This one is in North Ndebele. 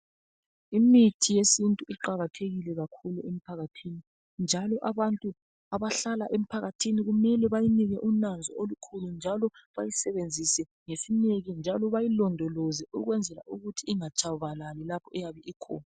Imithi yesintu iqakathekile kakhulu emphakathini njalo abantu abahlala emphakathini kumele bayinike unanzo olukhulu njalo bayisebenzise ngesineke njalo bayilondoloze ukwenzela ukuthi ingatshabalali lapho eyabe ikhona